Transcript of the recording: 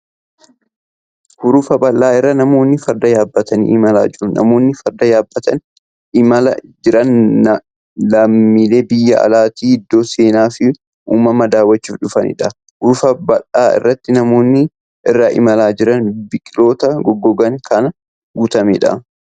Hurufa bal'aa irra namoonni farda yaabbatanii imalaa jiru. Namoonni farda yaabbatanii imalaa jiran lammilee biyya alaatii iddoo seenaa fi uumamaa daawwachuuf dhufaniidha. Hurufa bal'aa irratti namoonni irra imalaa jiran biqiltoota goggoganiin kan guutameedha.